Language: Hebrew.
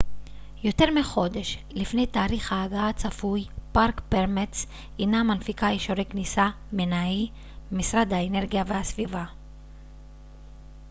משרד האנרגיה והסביבה minae אינה מנפיקה אישורי כניסה park permits יותר מחודש לפני תאריך ההגעה הצפוי